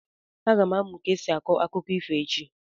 Aga m amụ ka esi akọ akụkọ ifo echi.